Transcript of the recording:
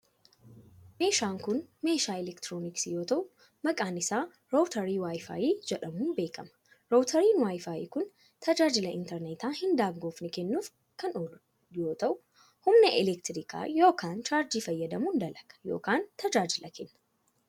Meeshaan kun meeshaa elektirooniksii yoo ta'u, maqaan isaa raawutarii WiFi jedamuun beekama. Raawutariin WiFi kun tajaajila intarneetaa hin daangofne kennuuf kan oolu yoo ta'u, humna elektirikaa yookin chaarjii fayyadamuun dalaga yookin tajaajila kenna.